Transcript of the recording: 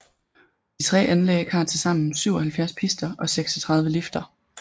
De tre anlæg har tilsammen 77 pister og 36 lifter